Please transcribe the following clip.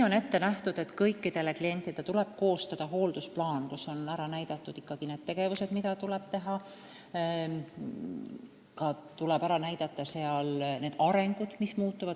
On ette nähtud, et kõikidele klientidele tuleb koostada hooldusplaan, kus on ära näidatud tegevused, samuti areng ja see, mis muutub.